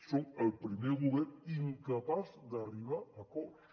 són el primer govern incapaç d’arribar a acords